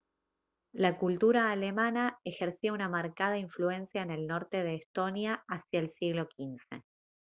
la cultura alemana ejercía una marcada influencia en el norte de estonia hacia el siglo xv